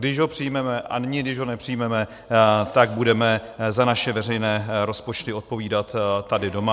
Když ho přijmeme a nyní, když ho nepřijmeme, tak budeme za naše veřejné rozpočty odpovídat tady doma.